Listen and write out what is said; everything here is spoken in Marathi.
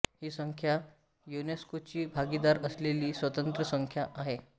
ही संस्था युनेस्कोची भागीदार असलेली स्वतंत्र संस्था आहे